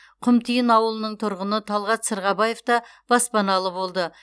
құмтиын ауылының тұрғыны талғат сырғабаев та баспаналы болды